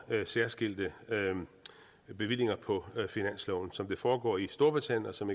særskilte bevillinger på finansloven som det foregår i storbritannien og som